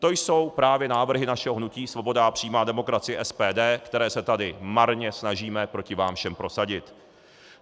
To jsou právě návrhy našeho hnutí Svoboda a přímá demokracie - SPD, které se tady marně snažíme proti vám všem prosadit.